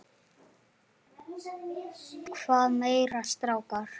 Hvað meira strákar?